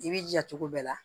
I b'i jija cogo bɛɛ la